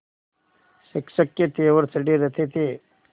शिक्षक के तेवर चढ़े रहते थे